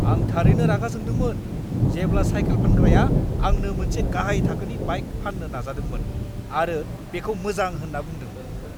आं थारैनो रागा जोंदोंमोन जेब्ला साइकेल फानग्राया आंनो मोनसे गाहाइ थाखोनि बाइक फाननो नाजादोंमोन आरो बेखौ मोजां होनना बुंदोंमोन!